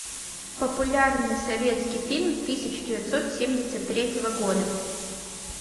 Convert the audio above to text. популярный советский фильм тысяча девятьсот семьдесят третьего года